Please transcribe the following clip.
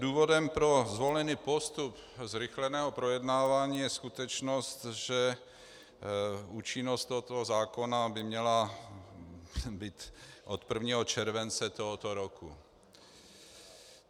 Důvodem pro zvolený postup zrychleného projednávání je skutečnost, že účinnost tohoto zákona by měla být od 1. července tohoto roku.